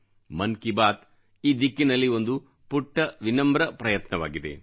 ಮನ್ ಕಿ ಬಾತ್ ಈ ದಿಕ್ಕಿನಲ್ಲಿ ಒಂದು ಪುಟ್ಟ ವಿನಮ್ರ ಪ್ರಯತ್ನವಾಗಿದೆ